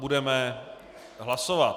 Budeme hlasovat.